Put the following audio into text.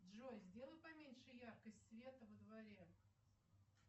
джой сделай поменьше яркость света во дворе